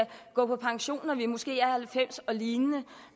gå på pension når vi måske er halvfems år og lignende